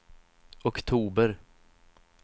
oktober